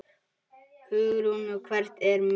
Hugrún: Og hvert er metið?